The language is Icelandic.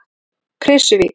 Krýsuvík